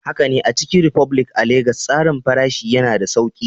Haka ne, a Chicken republic a Legas, tsarin farashi yana da sauƙi.